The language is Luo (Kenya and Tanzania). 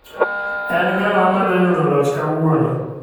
En ng'awa ma dhi yudo loch kawuono.